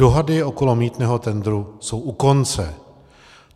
Dohady kolem mýtného tendru jsou u konce.